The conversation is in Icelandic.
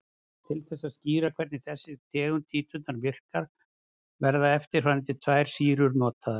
Til þess að skýra hvernig þessi tegund títrunar virkar verða eftirfarandi tvær sýrur notaðar.